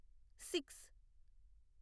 six